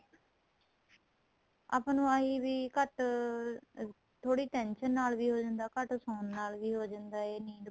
ਆਪਾਂ ਨੂੰ eye weak ਘੱਟ ਥੋੜੀ tension ਨਾਲ ਵੀ ਹੋ ਜਾਂਦਾ ਘੱਟ ਸੋਹਣ ਨਾਲ ਵੀ ਹੋ ਜਾਂਦਾ ਏ ਨੀਂਦ